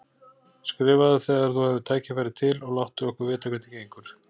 Skrifaðu þegar þú hefur tækifæri til og láttu okkur vita hvernig gengur.